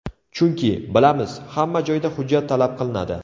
Chunki, bilamiz, hamma joyda hujjat talab qilinadi.